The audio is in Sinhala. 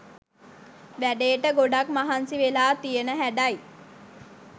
වැඩේට ගොඩක් මහන්සි වෙලා තියන හැඩයි.